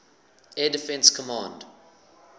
air defense command